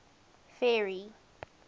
ferry